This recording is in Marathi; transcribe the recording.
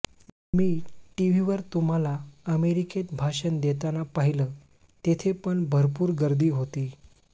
मी टीव्हीवर तुम्हाला अमेरिकेत भाषण देतांना पाहिलं तेथे पण भरपूर गर्दी होती